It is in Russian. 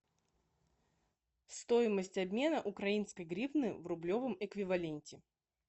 стоимость обмена украинской гривны в рублевом эквиваленте